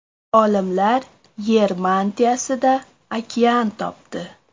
Olimlar Yer mantiyasida okean topdi.